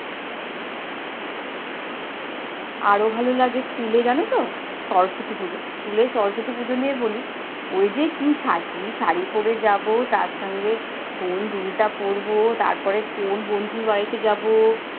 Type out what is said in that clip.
আরো ভালো লাগে স্কুলে জানতো সরস্বতী পূজো। স্কুলে সরস্বতী পূজো নিয়ে বলি, ওই যে কি সাকি শাড়ি পড়ে যাব, তার সঙ্গে কোন দুলটা পড়বো, তারপরে কোন বন্ধুর বাড়িতে যাবো,